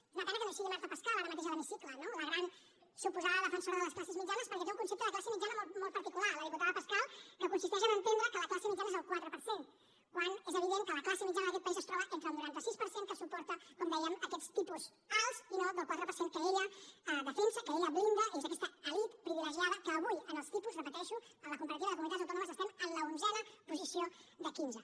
és una pena que no hi sigui marta pascal ara mateix a l’hemicicle no la gran suposada defensora de les classes mitjanes perquè té un concepte de classe mitjana molt particular la diputada pascal que consisteix a entendre que la classe mitjana és el quatre per cent quan és evident que la classe mitjana d’aquest país es troba entre el noranta sis per cent que suporta com dèiem aquests tipus alts i no del quatre per cent que ella defensa que ella blinda és aquesta elit privilegiada que avui en els tipus ho repeteixo en la comparativa de comunitats autònomes estem en l’onzena posició de quinze